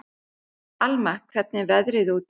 Alma, hvernig er veðrið úti?